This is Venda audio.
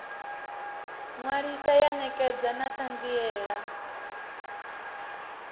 ṅwalisa ya ṋekedza na ṱhanziela